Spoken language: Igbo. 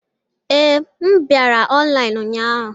Ee, m bịara ọnlaịnu ụnyahụ.